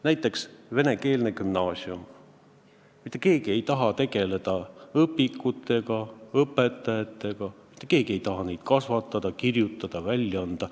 Näiteks venekeelne gümnaasium – mitte keegi ei taha tegeleda õpikute ega õpetajatega, mitte keegi ei taha neid õpetajaid kasvatada ega õpikuid kirjutada ja välja anda.